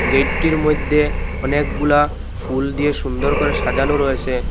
গেটেটির মইধ্যে অনেকগুলা ফুল দিয়ে সুন্দর করে সাজানো রয়েসে।